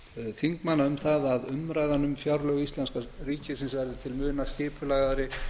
þingmanna um það að umræðan um fjárlög íslenska ríkisins verði til muna skipulagðari